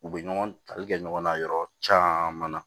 U bɛ ɲɔgɔn tali kɛ ɲɔgɔn na yɔrɔ caman na